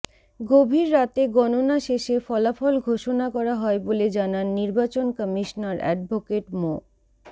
গভীর রাতে গণনা শেষে ফলাফল ঘোষণা করা হয় বলে জানান নির্বাচন কমিশনার অ্যাডভোকেট মো